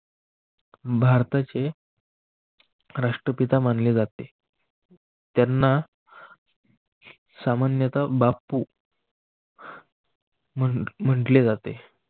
भारताचे राष्ट्रपिता मानले जाते. त्यांना सामान्यतः बाप्पू म्हटले जाते.